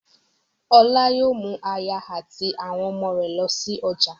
Ọlá yóò mú aya àti àwọn ọmọ rẹ̀ lọ sí ọjà